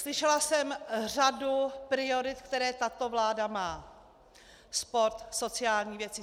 Slyšela jsem řadu priorit, které tato vláda má - sport, sociální věci.